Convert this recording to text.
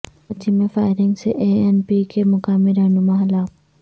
کراچی میں فائرنگ سے A N P کے مقامی رہنما ہلاک